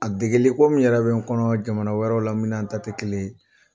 A dege ko min yɛrɛ bɛ n kɔnɔ jamana wɛrɛw la min n'an ta tɛ kelen ye